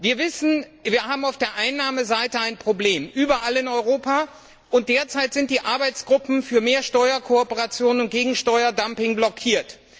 Wir wissen, wir haben auf der Einnahmeseite überall in Europa ein Problem, und derzeit sind die Arbeitsgruppen für mehr Steuerkooperation und gegen Steuerdumping blockiert.